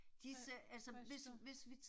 Hvad, hvad synes du?